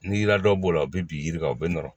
Ni ladon b'o la u bi bin yiri kan u be nɔrɔ